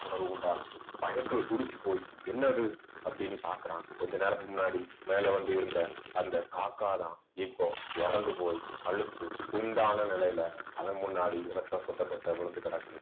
உணர்வு உண்டாகுது பயத்துல துடிச்சுப் போய், என்னது அப்படீன்னு பார்க்கிறான் கொஞ்ச நேரத்துக்கு முன்னாடி மேல வந்து இருந்த அந்த காக்கா தான் இப்போ இறந்து போய் கழுத்து துண்டான நிலையில அவன் முன்னாடி ரத்தம் சொட்ட சொட்ட விழுந்து கிடக்குது